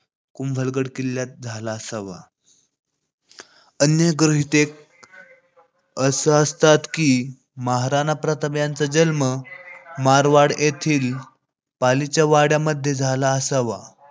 कुंभलगड किल्ल्यात झाला असावा. अन्य गृहीतके असं सांगतात की महाराणा प्रताप यांचा जन्म मारवाड येथील पालीच्या वाड्यामध्ये झाला असावा